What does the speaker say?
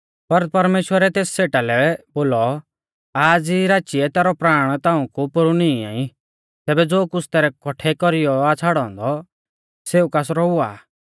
पर परमेश्‍वरै तेस सेठा लै बोलौ आज़ ई राचीऐ तैरौ प्राण ताऊं कु पोरु निंईआ ई तैबै ज़ो कुछ़ तैरै कौठै कौरीयौ आ छ़ाड़ौ औन्दौ सेऊ कासरौ हुआ आ